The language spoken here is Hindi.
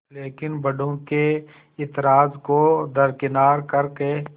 लेकिन बड़ों के ऐतराज़ को दरकिनार कर के